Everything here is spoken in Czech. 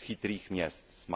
Chytrých měst